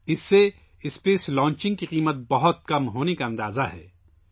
اس کی وجہ سے خلائی لانچنگ کی لاگت کا تخمینہ بہت کم ہونے کا اندازہ ہے